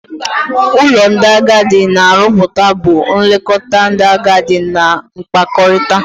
n'ụlọ ndị agadi na aroputa bu nlekọta ndị agadi na-nkpakọrịta.